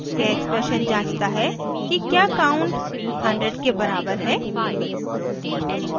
यह expression जाँचता है कि क्या count 100 के बराबर है